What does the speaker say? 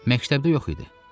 Məktəbdə yox idi.